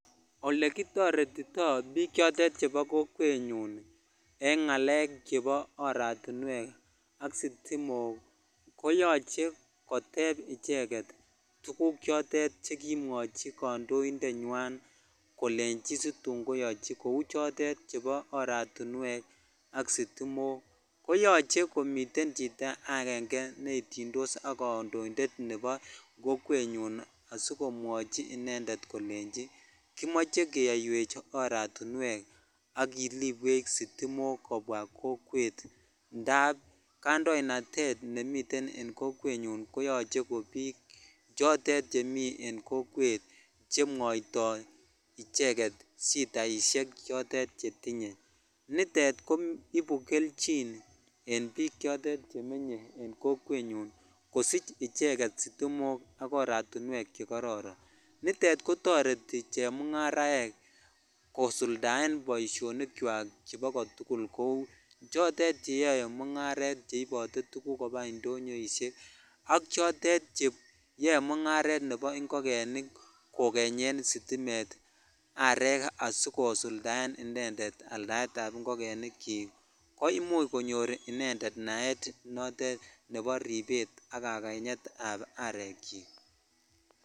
Olekitoretitoi biik chotonchoto chebo korenyon en ngalek chepo aratinwek ,sitimok koyoche kotep icheget tuguk chotet chekimwochi kandointe nywan kolechi situn kayaiwok kou chotet chebo oratiwek ak sitimok ko yoche komiten chito aenge ne nomekei ak kandoinded kokwenyun kolenchi keyaiwech iratinwek ak kilibweech sitimok kobwa kokwetindap kandoinatet nemiten kokwenyun koyoche komi chotet chemi en kokwet chemwoitoi shataa chotet chetinye nitet koibu kelchinen biik chotet chemenye kokwenyun kosich icheget sitimok ak aratwek che kororon nitet kotoreti chemongaraej josuldaen boishonik chwak kou chotet cheyoe mungaret cgeibote tuguk koba indinyoishek ak chotet cheyo mongaret chebo ingogenik kokenyen sitimet arek asikosuldaen inended alsaet ab ingogenik chik ko imuch konyor ingogenik naet nebo rebet ak kakantet ab arek chik.